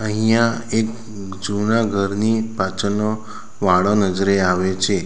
અહીંયા એક જૂના ઘરની પાછળનો વાળો નજરે આવે છે.